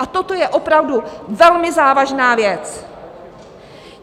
A toto je opravdu velmi závažná věc.